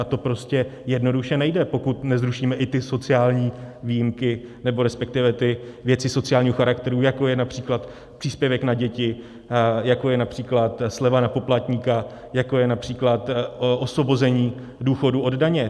A to prostě jednoduše nejde, pokud nezrušíme i ty sociální výjimky, nebo respektive ty věci sociálního charakteru, jako je například příspěvek na děti, jako je například sleva na poplatníka, jako je například osvobození důchodu od daně.